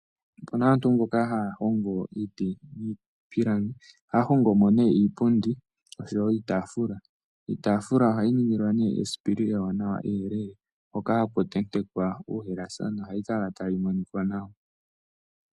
Opena aantu mboka haya hongo iiti niipilangi ,ohaya hongomo ne iipundi noshowo iitafula. Iitafula ohayi ningilwa nduno esipili etelele hoka haku tentekwa uuhalasa nohali kala tali monika nawa